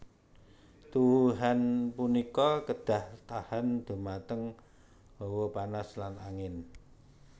Tuwuhan punika kedah tahan dhumateng hawa panas lan angin